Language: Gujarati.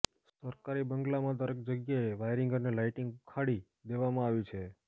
સરકારી બંગ્લામાં દરેક જગ્યાએ વાયરિંગ અને લાઈટિંગ ઉખાડી દેવામાં આવી છે